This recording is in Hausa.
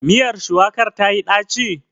Miyar shuwakar tayi ɗaci?